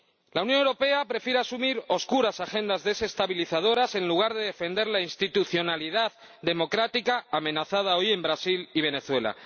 La Unión Europea prefiere asumir oscuras agendas desestabilizadoras en lugar de defender la institucionalidad democrática amenazada hoy en Brasil y Venezuela.